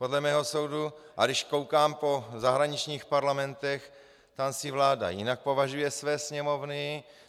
Podle mého soudu, a když koukám po zahraničních parlamentech, tam si vláda jinak považuje své sněmovny.